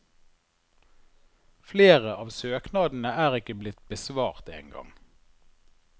Flere av søknadene er ikke blitt besvart engang.